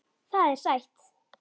Það er sætt.